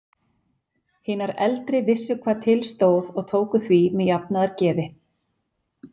Hinar eldri vissu hvað til stóð og tóku því með jafnaðargeði.